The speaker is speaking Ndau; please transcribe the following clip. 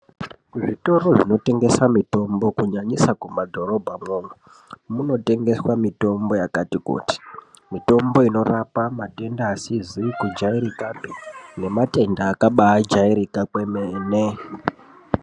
Kuzvitoro zvinotengesa mitombo kunyanyisa mumadhorobhamwo. Munotengeswa mitombo yakati kuti mitombo inorapa matenda asizi kujaerekapi nematenda akabajairika kwemene.